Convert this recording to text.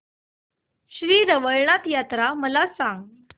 श्री रवळनाथ यात्रा मला सांग